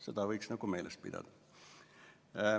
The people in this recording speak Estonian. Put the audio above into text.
Seda võiks meeles pidada.